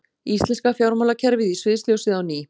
Íslenska fjármálakerfið í sviðsljósið á ný